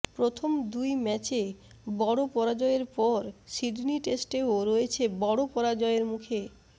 প্রথম দুই ম্যাচে বড় পরাজয়ের পর সিডনি টেস্টেও রয়েছে বড় পরাজয়ের মুখে